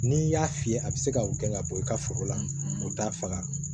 N'i y'a fiyɛ a be se ka gɛn ka bɔ i ka foro la u t'a faga